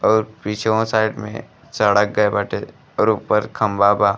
अउर पीछ्वो साइड में सड़क गएल बाटे और ऊपर खम्भा बा।